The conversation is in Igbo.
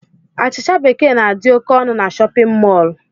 Achịcha bekee na-adi ókè ọnụ n'shóppin mol.